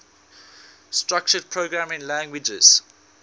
structured programming languages